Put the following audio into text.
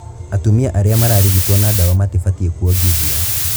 Atumia arĩa mararigitwo na ndawa matibatie kũongithia.